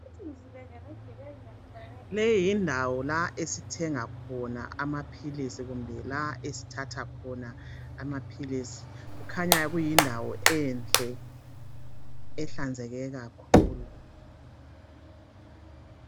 Leyi yindawo lapho esithenga khona amaphilisi kumbe la esithatha khona amaphilisi. Kukhanya kuyindawo enhle ehlanzeke kakhulu.